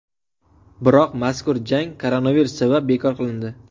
Biroq mazkur jang koronavirus sabab bekor qilindi.